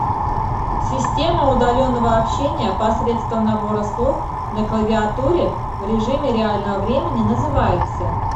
система удаленного общения посредством набора слов на клавиатуре в режиме реального времени называется